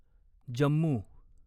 Jammu